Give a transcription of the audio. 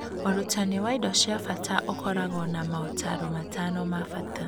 Ũrutani wa indo cia bata ũkoragwo na motaaro matano ma bata.